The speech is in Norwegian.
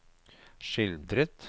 skildret